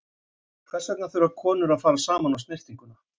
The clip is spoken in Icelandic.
Hvers vegna þurfa konur að fara saman á snyrtinguna?